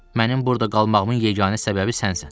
Mənim burda qalmağımın yeganə səbəbi sənsən.